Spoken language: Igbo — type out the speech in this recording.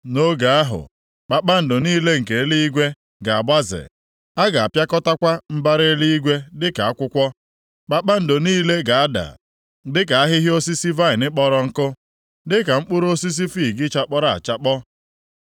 Nʼoge ahụ, kpakpando niile nke eluigwe ga-agbaze, a ga-apịakọtakwa mbara eluigwe dịka akwụkwọ, kpakpando niile ga-ada dịka ahịhịa osisi vaịnị kpọrọ nkụ, dịka mkpụrụ osisi fiig chakpọrọ achakpọ.